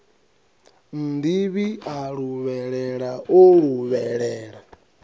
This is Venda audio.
nnḓivhi a luvhelela o luvhelela